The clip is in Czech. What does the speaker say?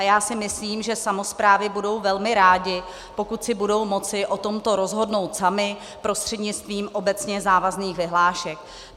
A já si myslím, že samosprávy budou velmi rády, pokud si budou moci o tomto rozhodnout samy prostřednictvím obecně závazných vyhlášek.